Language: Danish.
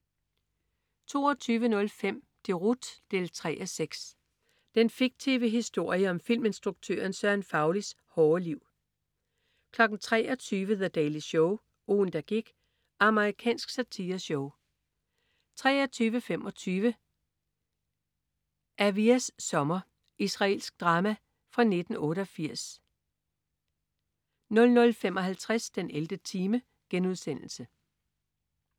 22.05 Deroute 3:6. Den fiktive historie om filminstruktøren Søren Faulis hårde liv 23.00 The Daily Show. Ugen der gik. Amerikansk satireshow 23.25 Aviyas sommer. Israelsk drama fra 1988 00.55 den 11. time*